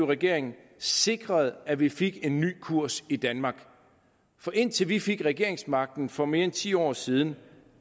regering sikrede at vi fik en ny kurs i danmark for indtil vi fik regeringsmagten for mere end ti år siden